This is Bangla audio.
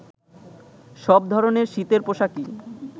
সব ধরনের শীতের পোশাকই